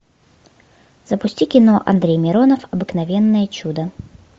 запусти кино андрей миронов обыкновенное чудо